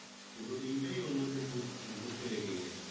পুরো দিনটাই ওর মধ্যে ঘুর ঘুরতে লেগে গেছে ।